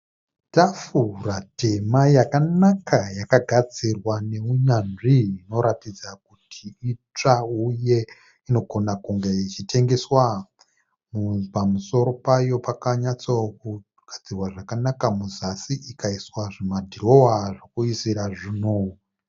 Tafura tema yakanaka yakagadzirwa neunyanzvi inoratidza kuti itsva uye inogona kunge ichitengeswa. Pamusoro payo pakanyatsa kugadzirwa zvakanaka. Muzasi ikaiswa zvimadhirowa zvekuisira zvinhu.